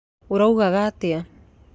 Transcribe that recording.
Ũraugaga atĩa?